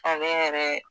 Ale yɛrɛ